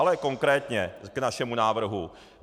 Ale konkrétně k našemu návrhu.